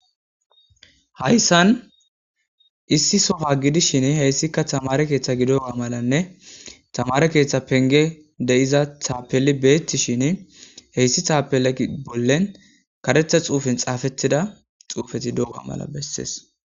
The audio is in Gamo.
Hayissan issi sowa gidishshin heyissikka tamare keththa gidobaganne tamare keththa pengeyi de'iza taapeli betishshinn heyiss tapela bollanni kareththa xuufenni xaafettida xuufetti doga mala besses .